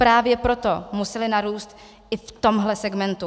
Právě proto musely narůst i v tomto segmentu.